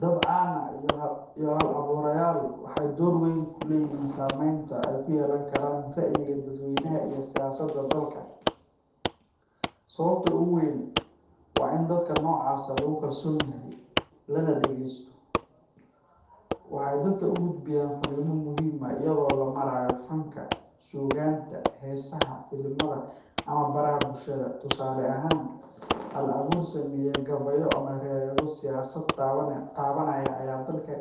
Dad caan ah iyo hal-abuurayaal waxay door weyn ku leeyihiin saameynta ay ku yeelan karaan ra’yiga dadweynaha iyo siyaasadda dalka. Sababta ugu weyn waa in dadka noocaas ah lagu kalsoon yahay, lana dhageysto. Waxay dadka u gudbiyaan fariimo muhiim ah iyadoo loo marayo fanka, suugaanta, heesaha, filimada, ama baraha bulshada. Tusaale ahaan, hal-abuur sameeya gabayo ama riwaayado siyaasad taabanaya ayaa dadka